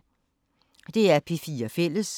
DR P4 Fælles